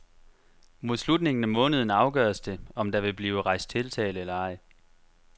Mod slutningen af måneden afgøres det, om der vil blive rejst tiltale eller ej.